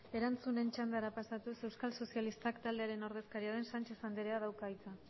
erantzunen txandara pasatuz euskal sozialistak taldearen ordezkaria den sánchez andreak dauka hitza